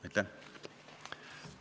Aitäh!